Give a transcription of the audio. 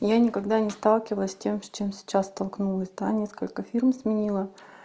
я никогда не сталкивалась с тем с чем сейчас столкнулась да несколько фирм сменила